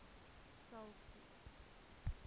saulspoort